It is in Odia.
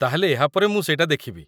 ତା'ହେଲେ ଏହାପରେ ମୁଁ ସେଟା ଦେଖିବି।